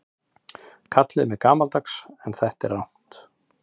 Kallið mig gamaldags en þetta er rangt.